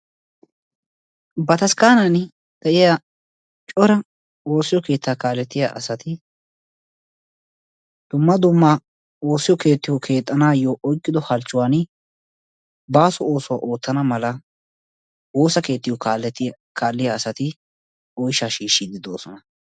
bataskaani de'iya cora woosiyo keettaa kaaletiya asati layttappe woosiyo keettiyo keexxanawu ootido halchuwani baaso oosuwa oottanawu wosa keetiyo kaaletti kaaliya asati oysha shiishidoosona.